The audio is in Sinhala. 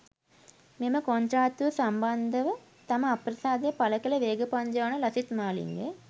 මෙම කොන්ත්‍රාත්තුව සම්බන්ධව තම අප්‍රසාදය පළ කළ වේග පන්දු යවන ලසිත් මාලිංග